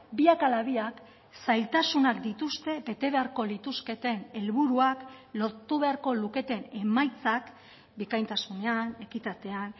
biak ala biak zailtasunak dituzte bete beharko lituzketen helburuak lortu beharko luketen emaitzak bikaintasunean ekitatean